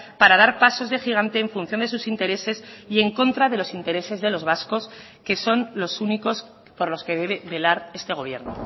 para dar pasos de gigante en función de sus intereses y en contra de los intereses de los vascos que son los únicos por los que debe velar este gobierno